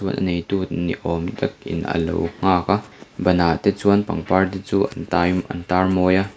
a neitu ni awm takin alo nghak a ban ah te chuan pangpar te chu an tai an tar mawi a.